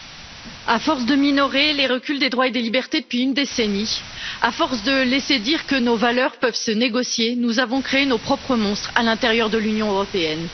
Monsieur le Président, à force de minorer les reculs des droits et des libertés depuis une décennie, à force de laisser dire que nos valeurs peuvent se négocier, nous avons créé nos propres monstres à l'intérieur de l'Union européenne.